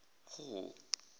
hall